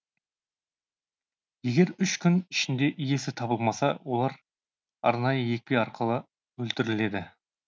егер үш күн ішінде иесі табылмаса олар арнайы екпе арқылы өлтіріледі